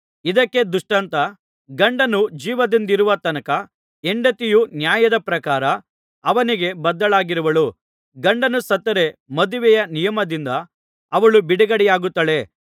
ಇದಕ್ಕೆ ದೃಷ್ಟಾಂತ ಗಂಡನು ಜೀವದಿಂದಿರುವ ತನಕ ಹೆಂಡತಿಯು ನ್ಯಾಯದ ಪ್ರಕಾರ ಅವನಿಗೆ ಬದ್ಧಳಾಗಿರುವಳು ಗಂಡನು ಸತ್ತರೆ ಮದುವೆಯ ನಿಯಮದಿಂದ ಅವಳು ಬಿಡುಗಡೆಯಾಗುತ್ತಾಳೆ